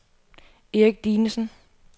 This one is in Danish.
Erik Dinesen